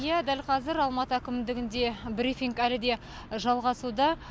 иә дәл қазір алматы әкімдігінде брифинг әлі де жалғасуда